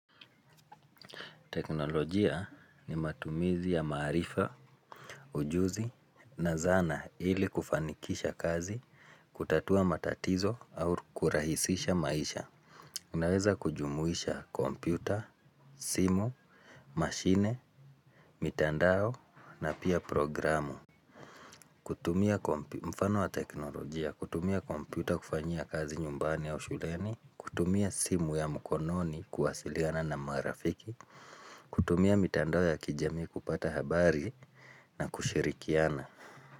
Teknolojia ni matumizi ya maarifa, ujuzi na zana ili kufanikisha kazi, kutatua matatizo au kurahisisha maisha. Unaweza kujumuisha kompyuta, simu, mashine, mitandao na pia programu. Kutumia kompyuta, kufanyia kazi nyumbani au shuleni. Kutumia simu ya mkononi kuwasiliana na marafiki. Kutumia mitando ya kijami kupata habari na kushirikiana.